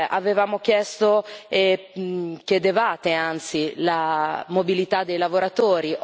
Avevamo chiesto e chiedevate anzi la mobilità dei lavoratori.